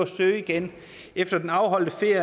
søge igen efter den afholdte ferie